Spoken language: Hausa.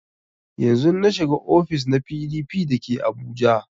Yanzun na shiga ofis na PDP da ke abuja